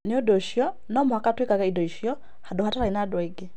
Nĩ ũndũ ũcio, no mũhaka tũigage indo icio handũ hatarĩ na andũ angĩ.